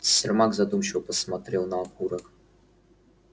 сермак задумчиво посмотрел на окурок